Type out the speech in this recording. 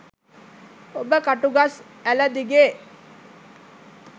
ඔබ කටුගස් ඇළ දිගේ